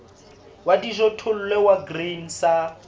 wa dijothollo wa grain sa